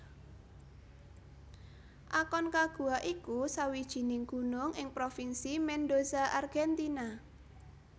Aconcagua iku sawijining gunung ing Provinsi Mendoza Argentina